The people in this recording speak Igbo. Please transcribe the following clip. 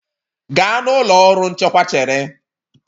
Gaa na ụlọ ọrụ nchekwa chere